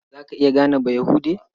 Za ka iya gane Bayahude?